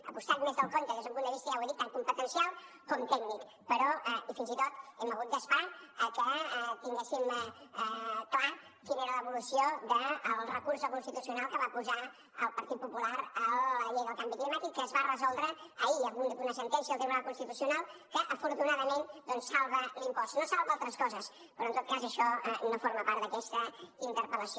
ha costat més del compte des d’un punt de vista ja ho he dit tant competencial com tècnic i fins i tot hem hagut d’esperar que tinguéssim clar quina era l’evolució del recurs del constitucional que va posar el partit popular a la llei del canvi climàtic que es va resoldre ahir amb una sentència del tribunal constitucional que afortunadament doncs salva l’impost no salva altres coses però en tot cas això no forma part d’aquesta interpel·lació